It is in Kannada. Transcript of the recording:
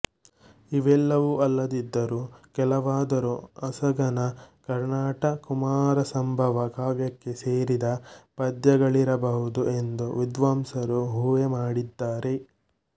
ಇವೆಲ್ಲವೂ ಅಲ್ಲದಿದ್ದರೂ ಕೆಲವಾದರೂ ಅಸಗನ ಕರ್ಣಾಟ ಕುಮಾರಸಂಭವ ಕಾವ್ಯಕ್ಕೆ ಸೇರಿದ ಪದ್ಯಗಳಿರಬಹುದು ಎಂದು ವಿದ್ವಾಂಸರು ಊಹೆ ಮಾಡಿದ್ದಾರೆ